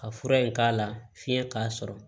Ka fura in k'a la fiɲɛ k'a sɔrɔ